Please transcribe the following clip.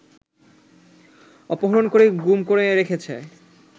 অপহরণ করে গুম করে রেখেছে